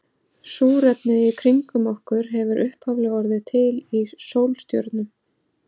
Súrefnið í kringum okkur hefur upphaflega orðið til í sólstjörnum.